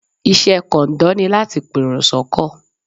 Iṣẹ́ kọ̀ǹdọ́ ni láti pèrò sọ́kọ̀.